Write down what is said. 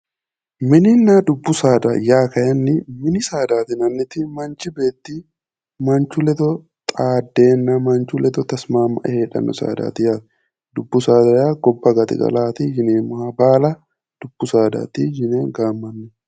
mininna dubbu saada yaa kayiinni mini saada yinanniti manchi beetti manchu ledo xaaddeenna manchu ledo tasimaammae heedhanno saadaati yaate dubbu saada gobba gaxigala yineemmoha baala dubbu saadaati yine gaammanni.